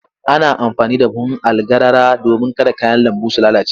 Ana amfani da buhun algarara domin kada kayan lambu su lalace.